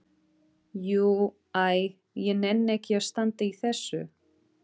Jú. æ ég nenni ekki að standa í þessu.